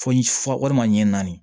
Fɔ walima ɲɛ naani